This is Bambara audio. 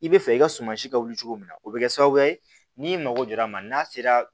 I bɛ fɛ i ka sumansi ka wuli cogo min na o bɛ kɛ sababu ye n'i mago jɔra a ma n'a sera